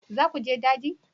Za ku je daji?